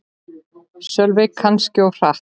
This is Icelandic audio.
Sölvi: Kannski aðeins of hratt